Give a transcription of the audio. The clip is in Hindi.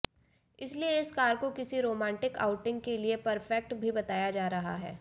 इसलिए इस कार को किसी रोमांटिक आउटिंग के लिए परफेक्ट भी बताया जा रहा है